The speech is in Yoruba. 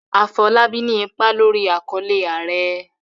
Afolábí ní ipa lórí àkọlé"Ààrẹ".